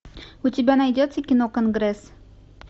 у тебя найдется кино конгресс